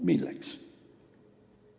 Milleks?